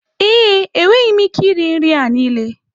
ee, enweghị m ike iri nri a niile.